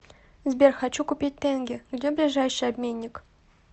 сбер хочу купить тенге где ближайший обменник